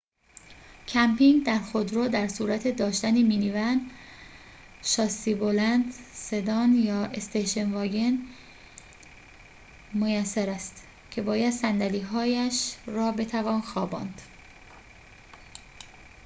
کمپینگ در خودرو در صورت داشتن مینی‌ون شاسی‌بلند سدان یا استیشن واگن میسر است که باید صندلی‌هاییش را بتوان خواباند